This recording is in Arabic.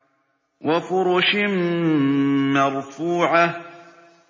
وَفُرُشٍ مَّرْفُوعَةٍ